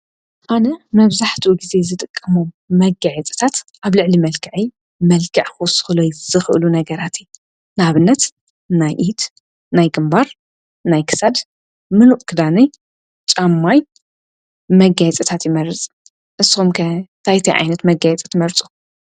ኣነ መብዛሕቱ ጊዜ ዝጠቀሞመርፁጊየ ጽታት ኣብ ልዕሊ መልካዐ መልካዕ ኹስኽለይ ዝኽእሉ ነገራቲ ናብነት ናይ ኢድ ናይ ግምባር ናይ ክሳድ ምሉእ ክዳነይ ፃምማይ መጋይ ጸታት ይመርጽ ንስምከ ታይቲይ ዓይነት መጋይጸት መርፁ።